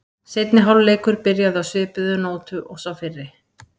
Seinni hálfleikur byrjaði á svipuðu nótum og sá fyrri.